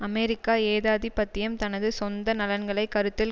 அமெரிக்க ஏகாதிபத்தியம் தனது சொந்த நலன்களை கருத்தில்